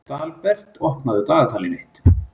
Dalbert, opnaðu dagatalið mitt.